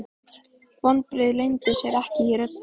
Vonbrigðin leyndu sér ekki í röddinni.